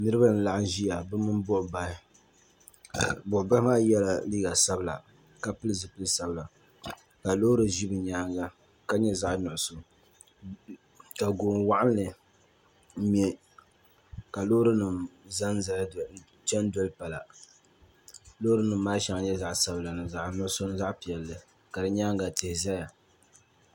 Niriba n laɣim ziya bi mini buɣi bahi buɣibahi maa yela liiga sabila ka pili zupiligu sabila ka loori zi bi yɛanga ka nyɛ zaɣi nuɣiso ka goni wɔɣinnli mŋɛ ka loori nima chani doli pala loori nima maa shɛba nyɛla zaɣi sabila ni zaɣi nuɣiso ni zaɣi piɛlli ka di yɛanga tihi zaya.